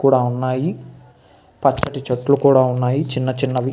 కూడా ఉన్నాయి. పక్కన చెట్లు కూడా ఉన్నాయి చిన్న చిన్నవి.